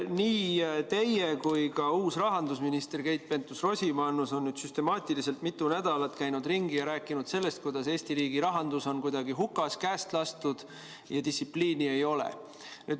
Nii teie kui ka uus rahandusminister Keit Pentus-Rosimannus on nüüd süstemaatiliselt mitu nädalat käinud ringi ja rääkinud sellest, kuidas Eesti riigi rahandus on kuidagi hukas, käest lastud ja distsipliini ei ole.